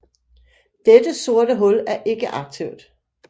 Dette sorte hul er ikke aktivt